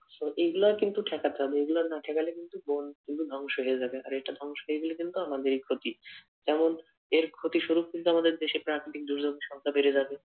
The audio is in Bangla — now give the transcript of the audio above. তো গুলাই কিন্তু ঠেকাতে হবে। এগুলা না ঠেকালে কিন্তু বন কিন্তু ধ্বংস হয়ে যাবে। আর এটা ধ্বংস হয়ে গেলে কিন্তু আমাদেরই ক্ষতি। কারণ এর ক্ষতি স্বরূপ কিন্তু আমাদের দেশে প্রাকৃতিক দুর্যোগ সংখ্যা বেড়ে যাবে।